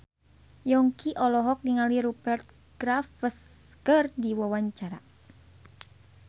Yongki olohok ningali Rupert Graves keur diwawancara